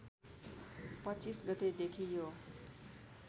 २५ गतेदेखि यो